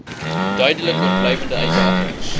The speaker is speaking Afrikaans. duidelik oorblywende uitdagings